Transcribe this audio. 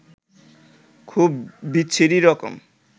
খুব বিচ্ছিরি রকম